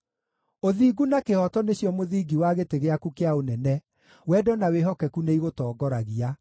Ũthingu na kĩhooto nĩcio mũthingi wa gĩtĩ gĩaku kĩa ũnene; wendo na wĩhokeku nĩigũtongoragia.